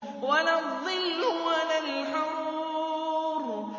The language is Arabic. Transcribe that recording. وَلَا الظِّلُّ وَلَا الْحَرُورُ